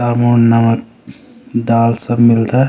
साबुन नमक दाल सब मिलदा।